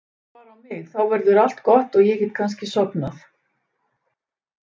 Horfðu bara á mig, þá verður allt gott og ég get kannski sofnað.